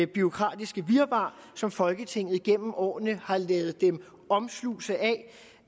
bureaukratiske virvar som folketinget gennem årene har ladet dem omslutte